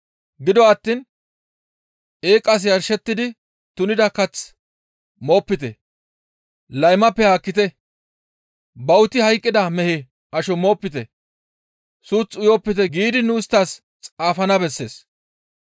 Gido attiin eeqas yarshettidi tunida kath moopite; laymappe haakkite; bawuti hayqqida mehe asho moopite; suuth uyopite giidi nu isttas xaafana bessees.